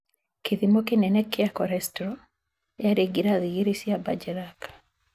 Kĩthimo kĩnene kĩa cholestrol yaari ngirathi igĩri cia Bergerac.